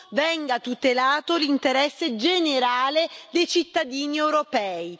venga tutelato l'interesse generale dei cittadini europei.